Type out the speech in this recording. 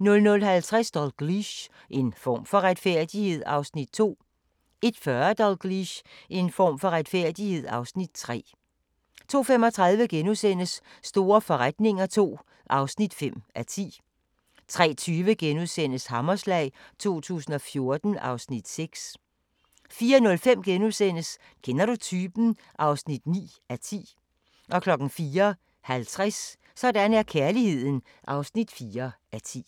00:50: Dalgliesh: En form for retfærdighed (Afs. 2) 01:40: Dalgliesh: En form for retfærdighed (Afs. 3) 02:35: Store forretninger II (5:10)* 03:20: Hammerslag 2014 (Afs. 6)* 04:05: Kender du typen? (9:10)* 04:50: Sådan er kærligheden (4:10)